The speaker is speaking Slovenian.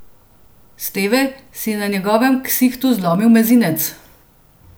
Steve si je na njegovem ksihtu zlomil mezinec.